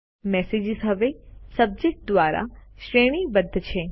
messages હવે subject દ્વારા શ્રેણી બદ્ધ છે